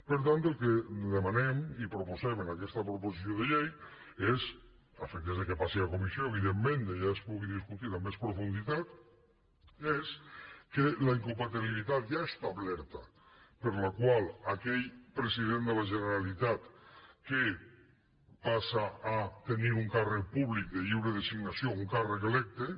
per tant el que demanem i proposem en aquesta proposició de llei a efectes que passi a comissió evidentment i allà es pugui discutir amb més profunditat és que la incompatibilitat ja establerta per la qual aquell president de la generalitat que passa a tenir un càrrec públic de lliure designació un càrrec electe